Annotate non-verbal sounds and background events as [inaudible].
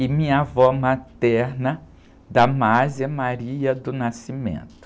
e minha avó materna. [unintelligible]